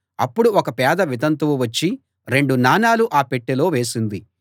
అప్పుడు ఒక పేద వితంతువు వచ్చి రెండు నాణాలు ఆ పెట్టెలో వేసింది